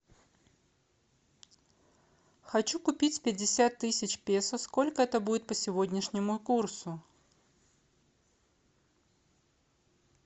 хочу купить пятьдесят тысяч песо сколько это будет по сегодняшнему курсу